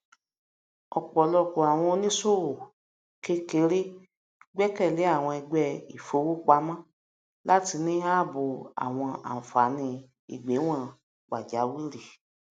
ọpọlọpọ àwọn oníṣòwò kékeré gbẹkẹlé àwọn ẹgbẹ ifowópamọ láti ní ààbò àwọn ànfàní ìgbẹwọn pàjáwìrì